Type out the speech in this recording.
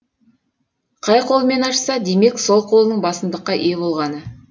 қай қолымен ашса демек сол қолының басымдыққа ие болғаны